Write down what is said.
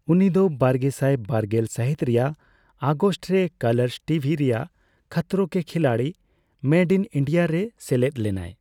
ᱩᱱᱤ ᱫᱚ ᱵᱟᱨᱜᱮᱥᱟᱭ ᱵᱟᱨᱜᱮᱞ ᱥᱟᱦᱤᱛ ᱨᱮᱭᱟᱜ ᱟᱜᱚᱥᱴ ᱨᱮ ᱠᱟᱞᱟᱨᱥ ᱴᱤᱵᱷᱤ ᱨᱮᱭᱟᱜ Khatron Ke Khiladi made in India ᱨᱮ ᱥᱮᱞᱮᱫ ᱞᱮᱱᱟᱭ ᱾